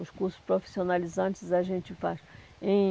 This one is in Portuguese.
Os cursos profissionalizantes a gente faz em